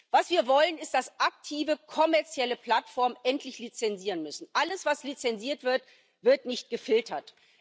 Was wir wollen, ist, dass aktive, kommerzielle Plattformen endlich lizenzieren müssen. Alles was lizenziert wird, wird nicht gefiltert.